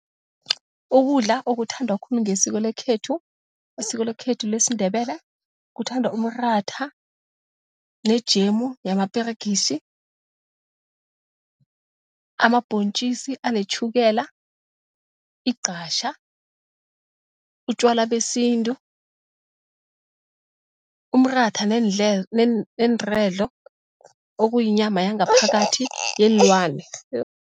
Ukudla okuthandwa khulu ngesiko lesikhethu, isiko lekhethu lesiNdebele, kuthandwa umratha nejemu yamaperegisi, amabhontjisi anetjhukela, igqatjha, utjwala besintu, umratha neenredlo, okuyinyama yangaphakathi yeenlwane.